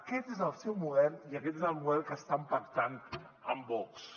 aquest és el seu model i aquest és el model que estan pactant amb vox